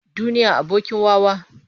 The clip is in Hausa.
Duniya abokin wawa.